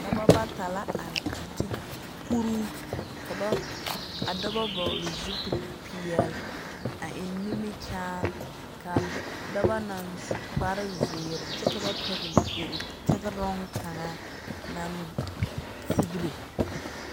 Daba bata la are a ti k kuruu ka ba, ka daba vɔgle zupilpeɛl, a eŋ nimikyaan. Kaa dɔ dɔba naŋ su kparzeer kyɛ ka ba pɛgle kur tegeroŋ kaŋa naŋ sigire.